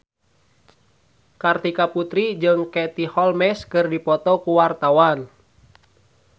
Kartika Putri jeung Katie Holmes keur dipoto ku wartawan